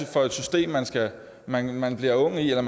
for et system man man bliver ung i eller